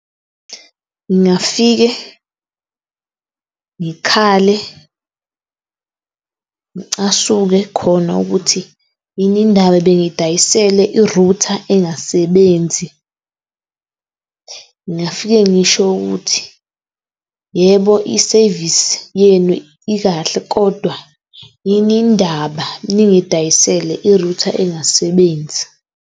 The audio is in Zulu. Ngingafike ngikhale , ngicasuke khona ukuthi yini indaba bengidayisele i-router engasebenzi . Ngingafike ngisho ukuthi yebo, i-service yenu ikahle, kodwa yini indaba ningidayisele i-router engasebenzi.